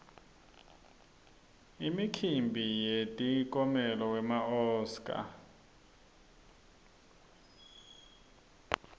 imikimbi yemikiomelo wema oscar